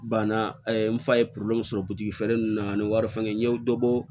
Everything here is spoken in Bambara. Banna n fa ye sɔrɔ butikifɛ nunnu na ani wari fɛn n ye dɔ bɔ